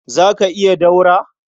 Za ka iya ɗaura